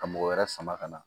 Ka mɔgɔ wɛrɛ sama ka na